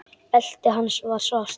Beltið hans var svart.